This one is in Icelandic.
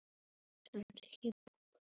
Svo sagði hann